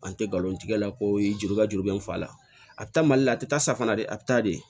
An tɛ galon tigɛ koyi juru ka juru bɛ n fa la a tɛ taa mali la a tɛ taa safinɛ de a bɛ taa de